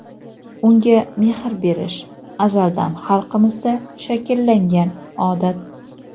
unga mehr berish - azaldan xalqimizda shakllangan odat.